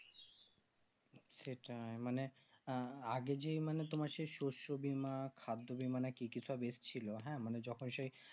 সেটাই মানে আগে যেই মানে তোমার সেই শস্য বীমা খাদ্য বীমা না কি কি এসছিল হ্যাঁ মানে যখন সেই